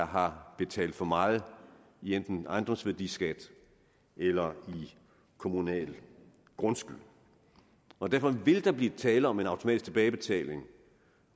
har betalt for meget i enten ejendomsværdiskat eller i kommunal grundskyld og derfor vil der blive tale om en automatisk tilbagebetaling